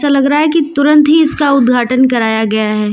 ऐसा लग रहा है कि तुरंत ही इसका उद्घाटन कराया गया है।